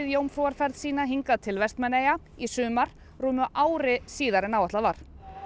jómfrúarferð sína hingað til Vestmannaeyja í sumar rúmu ári síðar en áætlað var